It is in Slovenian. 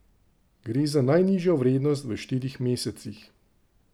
Gre za najnižjo vrednost v štirih mesecih.